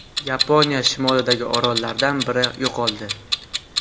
Yaponiya shimolidagi orollardan biri yo‘qoldi.